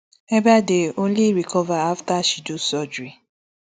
ebaide only recover afta she do surgery